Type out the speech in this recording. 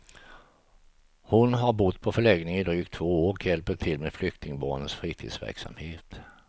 Hon har bott på förläggningen i drygt två år och hjälper till med flyktingbarnens fritidsverksamhet.